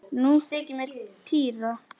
Nú þykir mér týra!